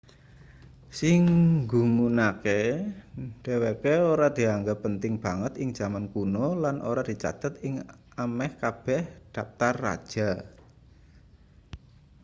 sing nggumunake dheweke ora dianggep penting banget ing jaman kuno lan ora dicathet ing ameh kabeh daptar raja